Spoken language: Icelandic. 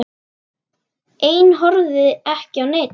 Ein horfði ekki á neinn.